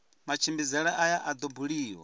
matshimbidzele aya a do buliwa